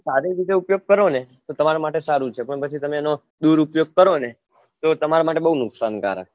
સારી રીતે ઉપયોગ કરોને તો તમાર માટે સારું છે પણ પછીતમે એનો દુર ઉપયોગ કરોને તો તમાર માટે બહુ નુકસાનકારક છે